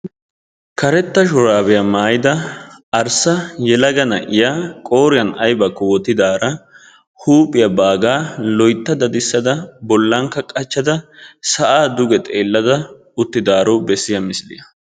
karetta shuraabiya maayida arssa yelaga na'iyaa qqoriyan aybbakko wotidaara huuphiyan qachada sa'aa dugekko xeeliyo misilyaa.